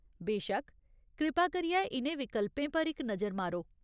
बेशक्क, कृपा करियै इ'नें विकल्पें पर इक नजर मारो।